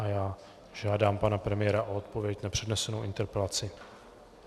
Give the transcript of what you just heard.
A já žádám pana premiéra o odpověď na přednesenou interpelaci.